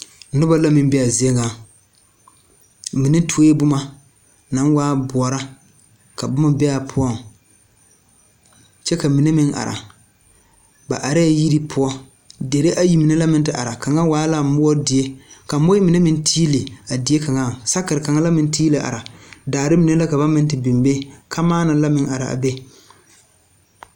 Noba la meŋ be a zie ŋa mine tuoe boma naŋ waa boɔra ka boma be a poɔŋ kyɛ ka mine meŋ are ba arɛɛ yiri poɔ deri ayi mine la meŋ te are kaŋa waa la moɔ die ka moɔɛ mine meŋ tiili a die kaŋaŋ sakere kaŋa la meŋ tiili are daare mine la ka ba meŋ te biŋ be kamaana la mrŋ are a be.